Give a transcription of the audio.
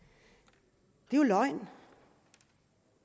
det er jo løgn